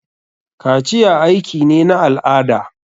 Kaciya aiki ne na al'ada.